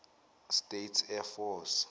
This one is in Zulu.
states air force